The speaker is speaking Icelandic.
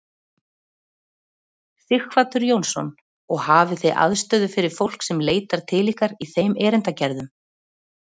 Sighvatur Jónsson: Og hafið þið aðstöðu fyrir fólk sem leitar til ykkar í þeim erindagerðum?